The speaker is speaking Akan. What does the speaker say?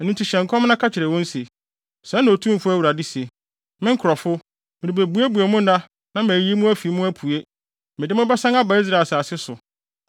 Ɛno nti hyɛ nkɔm na ka kyerɛ wɔn se: ‘Sɛɛ na Otumfo Awurade se: Me nkurɔfo, merebebuebue mo nna na mayiyi mo afi mu apue. Mede mo bɛsan aba Israel asase so.